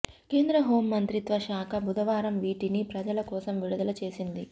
కేంద్ర హోం మంత్రిత్వశాఖ బుధవారం వీటిని ప్రజ ల కోసం విడుదల చేసింది